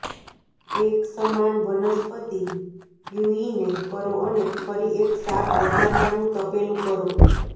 એક સમાન વનસ્પતિ પ્યૂઇને કરો અને ફરી એક શાક વઘારવાનું તપેલું કરો